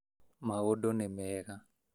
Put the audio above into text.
Maũndũ nĩ mega